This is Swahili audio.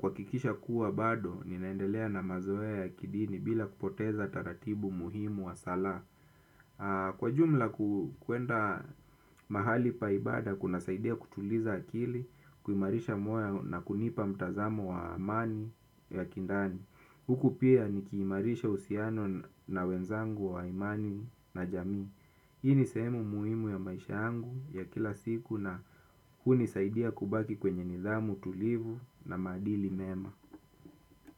Kuhakikisha kuwa bado, ninaendelea na mazoea ya kidini bila kupoteza taratibu muhimu wa sala. Kwa jumla kuenda mahali pa ibada kuna saidia kutuliza akili. Kuimarisha mwoyo na kunipa mtazamo wa amani ya kindani huku pia nikiimarisha uhusiano na wenzangu wa imani na jamii. Hii ni sehemu muhimu ya maisha yangu ya kila siku na hunisaidia kubaki kwenye nidhamu tulivu na maadili mema.